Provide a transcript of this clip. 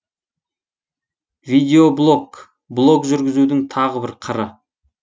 видеоблог блог жүргізудің тағы бір қыры